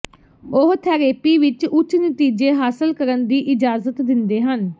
ਉਹ ਥੈਰੇਪੀ ਵਿਚ ਉੱਚ ਨਤੀਜੇ ਹਾਸਲ ਕਰਨ ਦੀ ਇਜਾਜ਼ਤ ਦਿੰਦੇ ਹਨ